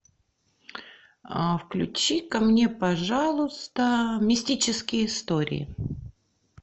включи ка мне пожалуйста мистические истории